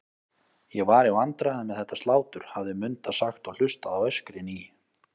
Ég var í vandræðum með þetta slátur, hafði Munda sagt og hlustað á öskrin í